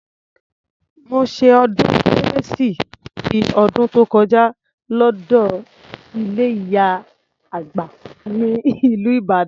Mo ṣe ọdún kérésì ti ọdún tó kọjá lọ́dọ ilé ìyá àgbà ní ìlú Ìbàdàn.